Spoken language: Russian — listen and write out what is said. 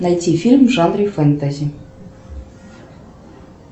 найти фильм в жанре фэнтези